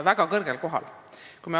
Väga kõrgel kohal.